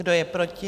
Kdo je proti?